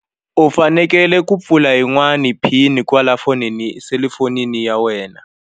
U fanekele ku pfula yin'wani pin kwala fonini selufoni ya wena.